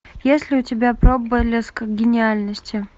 есть ли у тебя проблеск гениальности